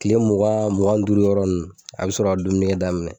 Kile mugan mugan ni duuru yɔrɔ nunnu a be sɔrɔ ka dumunikɛdaminɛ